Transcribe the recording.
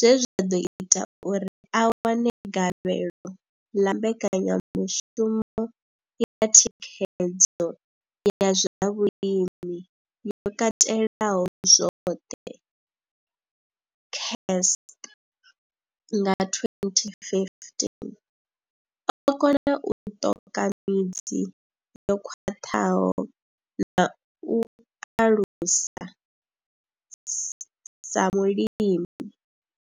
zwe zwa ḓo ita uri a wane gavhelo ḽa mbekanyamushumo ya thikhedzo ya zwa vhulimi yo katelaho zwoṱhe CASP nga 2015, o kona u ṱoka midzi yo khwaṱhaho na u aluwa sa mulimi.